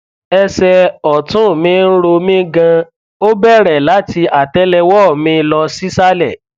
ẹsẹ ọtún mi ń ro mí ganan ó bẹrẹ láti àtẹlẹwọ mi lọ sísàlẹ